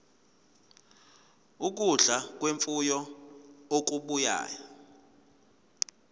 ukudla kwemfuyo okubuya